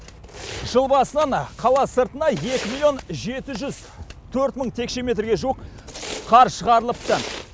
жыл басынан қала сыртына екі миллион жеті жүз төрт мың текше метрге жуық қар шығарылыпты